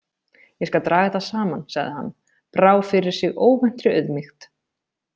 Ég skal draga þetta saman, sagði hann, brá fyrir sig óvæntri auðmýkt.